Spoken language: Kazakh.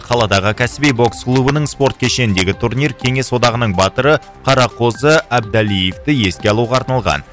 қаладағы кәсіби бокс клубының спорт кешеніндегі турнир кеңес одағының батыры қарақозы әбдалиевті еске алуға арналған